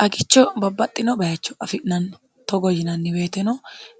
xagicho babbaxxino bayicho afi'nanni togo yinanni weeteno